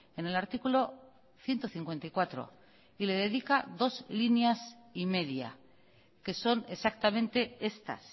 en el artículo ciento cincuenta y cuatro y le dedica dos líneas y media que son exactamente estas